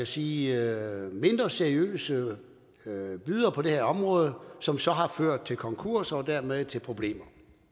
sige mindre seriøse bydere på det her område som så har ført til konkurs og dermed til problemer